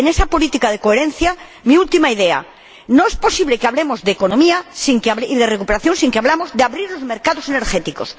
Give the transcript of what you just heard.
Y, en esa política de coherencia, mi última idea no es posible que hablemos de economía y de recuperación sin que hablemos de abrir los mercados energéticos.